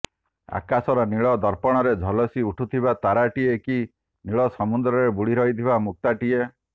ଆକାଶର ନୀଳ ଦର୍ପଣରେ ଝଲସି ଉଠୁଥିବା ତାରାଟିଏ କି ନୀଳ ସମୁଦ୍ରରେ ବୁଡ଼ି ରହିଥିବା ମୁକ୍ତାଟିଏ